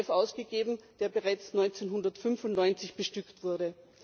8. EDF ausgegeben, der bereits 1995 bestückt wurde.